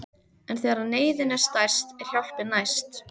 En þegar neyðin er stærst er hjálpin næst.